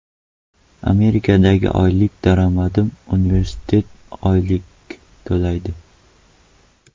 Amerikadagi oylik daromadim universitet oylik to‘laydi.